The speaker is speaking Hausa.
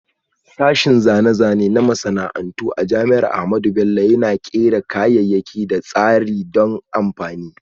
Sashen Zane-zane na Masana'antu a Jami'ar Ahmadu Bello Yana Kera kayayyaki da tsarin don amfani.